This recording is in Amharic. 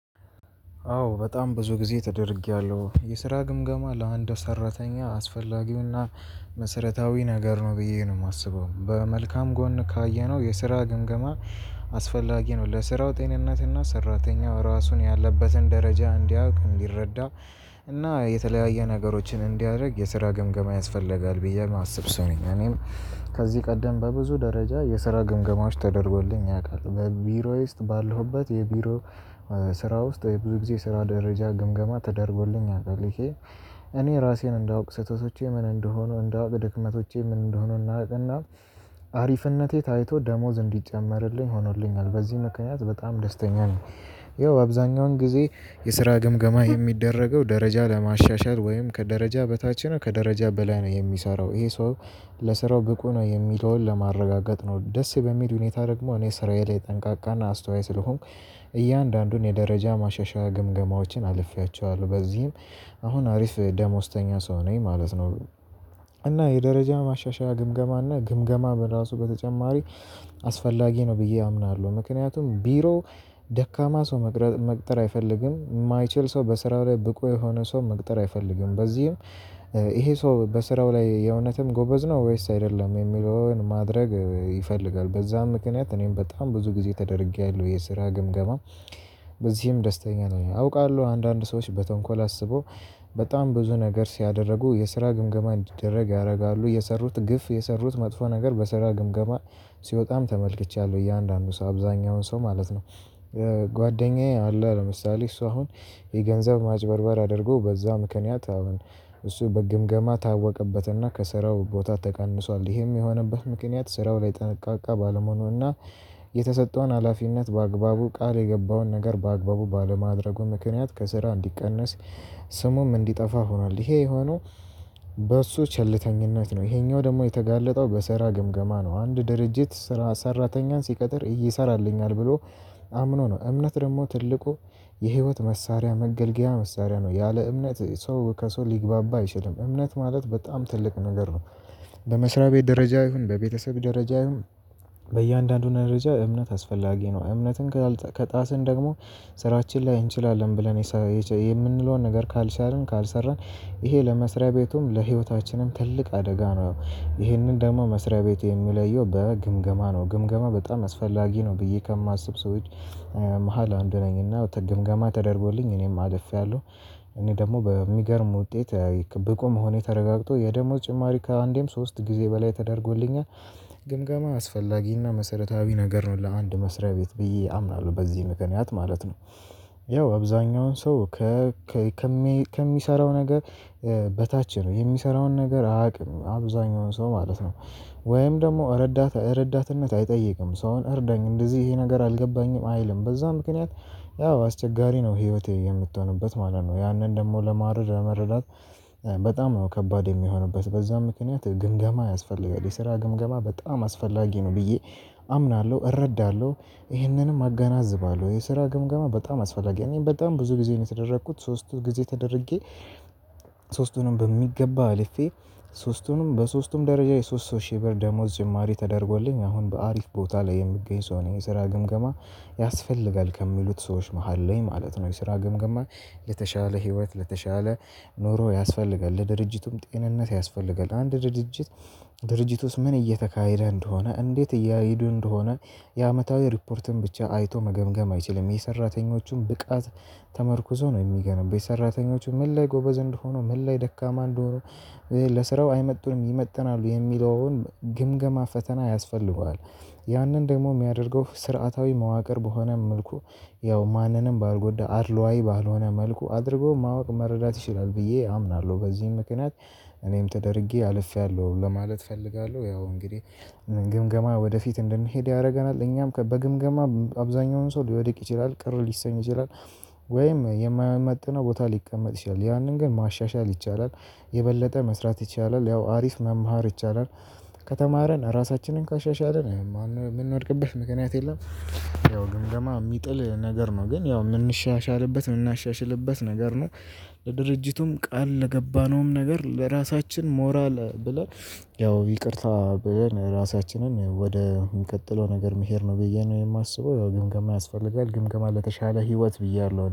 አዎ በጣም ብዙ ጊዜ ተደርጌያለሁ። የስራ ግምገማ ለአንድ ሰራተኛ አስፈላጊ እና መሰረታዊ ነገር ነው ብዬ ነው የማስበው። በመልካም ጎን ካየነው የስራ ግምገማ አስፈላጊ ነው። ለስራው ጤንነትና ሰራተኛው ራሱን ያለበትን ደረጃ እንዲያውቅ እንዲረዳ እና የተለያየ ነገሮችን እንዲያደርግ የስራ ግምገማ ያስፈልጋል ብዬ የማስብ ሰው ነኝ። እኔም ከዚህ ቀደም በብዙ ደረጃ የስራ ግምገማዎች ተደርጎልኝ ያውቃል። በቢሮዬ ውስጥ ባለሁበት የቢሮ ስራ ውስጥ ብዙ ጊዜ ስራ ደረጃ ግምገማ ተደርጎልኝ ቃውቃል። እኔ ራሴን እንዳውቅ ስህተቶቼ ምን እንደሆኑ እንዳውቅ ድክመቶቼ ምን እንደሆኑ እና አሪፍነቴ ታይቶ ደሞዝ እንዲጨመርልኝ ሆኖልኛል። በዚህ ምክንያት በጣም ደስተኛ ነኝ። ይኸው አብዛኛውን ጊዜ የስራ ግምገማ የሚደረገው ደረጃ ለማሻሻል ወይም ከደረጃ በታች ነው ከደረጃ በላይ ነው የሚሰራው ይሄ ሰው ለስራው ብቁ ነው የሚለውን ለማረጋገጥ ነው። ደስ በሚል ሁኔታ ደግሞ እኔ ስራዬ ላይ ጠንቃቃና አስተዋይ ስለሆንኩ እያንዳንዱን የደረጃ ማሻሻያ ግምገማዎችን አልፌያቸዋለሁ። በዚህም አሁን አሪፍ ደሞዝተኛ ሰው ነኝ ማለት ነው። እና የደረጃ ማሻሻያ ግምገማ እና ግምገማ በራሱ በተጨማሪ አስፈላጊ ነው ብዬ አምናለሁ። ምክንያቱም ቢሮ ደካማ ሰው መቅጠር አይፈልግም። የማይችል ሰው በስራው ላይ ብቁ የሆነ ሰው መቅጠር አይፈልግም። በዚህም ይሄ ሰው በስራው ላይ የእውነትም ጎበዝ ነው ወይስ አይደለም የሚለውን ማድረግ ይፈልጋል። በዛም ምክንያት እኔም በጣም ብዙ ጊዜ ተደርጌያለሁ። የስራ ግምገማ በዚህም ደስተኛ ነኝ። አውቃለሁ አንዳንድ ሰዎች በተንኮል አስበው በጣም ብዙ ነገር ሲያደርጉ የስራ ግምገማ እንዲደረግ ያደርጋሉ። የሰሩት ግፍ የሰሩት መጥፎ ነገር በስራ ግምገማ ሲወጣም ተመልክቻለሁ እያንዳንዱ ሰው አብዛኛውን ሰው ማለት ነው። ጓደኛዬ አለ። ለምሳሌ እሱ አሁን የገንዘብ ማጭበርበር አድርጎ በዛ ምክንያት አሁን እሱ በግምገማ ታወቀበትና ከስራው ቦታ ተቀንሷል። ይሄም የሆነበት ምክንያት ስራው ላይ ጠንቃቃ ባለመሆኑና የተሰጠውን ሀላፊነት በአግባቡ ቃል የገባውን ነገር በአግባቡ ባለማድረጉ ምክንያት ከስራ እንዲቀነስ ስሙም እንዲጠፋ ሆኗል። ይሄ የሆነው በሱ ቸልተኝነት ነው። ይሄኛው ደግሞ የተጋለጠው በሰራ ግምገማ ነው። አንድ ድርጅት ሰራተኛን ሲቀጥር ይሰራልኛል ብሎ አምኖ ነው። እምነት ደግሞ ትልቁ የህይወት መሳሪያ መገልገያ መሳሪያ ነው። ያለ እምነት ሰው ከሰው ሊግባባ አይችልም። እምነት ማለት በጣም ትልቅ ነገር ነው። በመስሪያ ቤት ደረጃ ይሁን በቤተሰብ ደረጃ ይሁን በእያንዳንዱ ደረጃ እምነት አስፈላጊ ነው። እምነትን ከጣስን ደግሞ ስራችን ላይ እንችላለን ብለን የምንለውን ነገር ካልቻልን ካልሰራን ይሄ ለመስሪያ ቤቱም ለህይወታችንም ትልቅ አደጋ ነው። ያው ይሄንን ደግሞ መስሪያ ቤት የሚለየው በግምገማ ነው። ግምገማ በጣም አስፈላጊ ነው ብዬ ከማስብ ሰዎች መሃል አንዱ ነኝ እና ግምገማ ተደርጎልኝ እኔም አልፌያለሁ። እኔ ደግሞ በሚገርም ውጤት ብቁ መሆኔ ተረጋግቶ የደሞዝ ጭማሪ ከአንዴም ሶስት ጊዜ በላይ ተደርጎልኛል። ግምገማ አስፈላጊና መሰረታዊ ነገር ነው ለአንድ መስሪያ ቤት ብዬ አምናለሁ። በዚህ ምክንያት ማለት ነው። ያው አብዛኛውን ሰው ከሚሰራው ነገር በታች ነው። የሚሰራውን ነገር አያውቅም። አብዛኛውን ሰው ማለት ነው። ወይም ደግሞ እረት እረዳትነት አይጠይቅም። ሰውን እርዳኝ እንደዚህ ይሄ ነገር አልገባኝም አይልም። በዛ ምክንያት ያው አስቸጋሪ ነው ህይወቴ የምትሆንበት ማለት ነው። ያንን ደግሞ ለመረዳት በጣም ነው ከባድ የሚሆኑበት። በዛም ምክንያት ግምገማ ያስፈልጋል። የስራ ግምገማ በጣም አስፈላጊ ነው ብዬ አምናለሁ። እረዳለሁ። ይሄንንም አገናዝባለሁ። የስራ ግምገማ በጣም አስፈላጊ ነው። እኔ በጣም ብዙ ጊዜ ነው የተደረኩት። ሶስቱ ጊዜ ተደርጌ ሶስቱንም በሚገባ አልፌ ሶስቱንም በሶስቱም ደረጃ የሶስት ሶስት ሺህ ብር ደሞዝ ጭማሪ ተደርጎልኝ አሁን በአሪፍ ቦታ ላይ የምትገኝ ሰው ነኝ። የስራ ግምገማ ያስፈልጋል ከሚሉት ሰዎች መሃል ነኝ ማለት ነው። የስራ ገምገማ ለተሻለ ህይወት ለተሻለ ኖሮ ያስፈልጋል። ለድርጅቱም ጤንነት ያስፈልጋል። አንድ ድርጅት ድርጅት ውስጥ ምን እየተካሄደ እንደሆነ እንዴት እያሄዱ እንደሆነ የአመታዊ ሪፖርትን ብቻ አይቶ መገምገም አይችልም። የሰራተኞቹን ብቃት ተመርኩዞ ነው የሚገመግመው። ሰራተኞቹ ምን ላይ ጎበዝ እንደሆኑ ምን ላይ ደካማ እንደሆኑ ለስራው አይመጡንም ይመጥናሉ የሚለውን ግምገማ ፈተና ያስፈልገዋል። ያንን ደግሞ የሚያደርገው ስርዓታዊ መዋቅር በሆነ መልኩ ያው ማንንም ባልጎዳ አድሎአዊ ባልሆነ መልኩ አድርጎ ማወቅ መረዳት ይችላል ብዬ አምናለሁ። በዚህም ምክንያት እኔም ተደርጌ አልፌያለሁ ለማለት እፈልጋለሁ። ያው እንግዲህ ግምገማ ወደፊት እንድንሄድ ያደርገናል። እኛም በግምገማ አብዛኛውን ሰው ሊወድቅ ይችላል ቅር ሊሰኝ ይችላል ወይም የማይመጥነው ቦታ ሊቀመጥ ይችላል። ያንን ግን ማሻሻል ይቻላል። የበለጠ መስራት ይቻላል። ያው አሪፍ መማር ይቻላል። ከተማርን ራሳችንን ካሻሻልን የምንወድቅበት ምክንያት የለም። ያው ግምገማ የሚጥል ነገር ነው። ግን ያው የምንሻሻልበት የምናሻሽልበት ነገር ነው። ለድርጅቱም ቃል ለገባነውም ነገር ለራሳችንም ሞራል ብለን ያው ይቅርታ ብለን ራሳችንን ወደ ቀጥሎ ነገር መሄድ ነው ብዬ ነው የማስበው። ያው ግምገማ ያስፈልጋል። ግምገማ ለተሻለ ህይወት ብያለሁ።